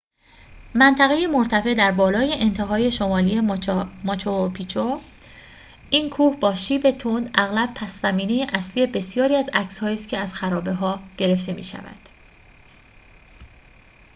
منطقه‌ای مرتفع در بالای انتهای شمالی ماچو پیچو این کوه با شیب تند اغلب پس‌زمینه اصلی بسیاری از عکسهایی است که از خرابه‌ها گرفته می‌شود